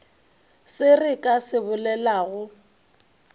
se re ka se bolelago